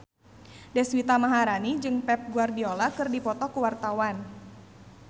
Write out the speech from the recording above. Deswita Maharani jeung Pep Guardiola keur dipoto ku wartawan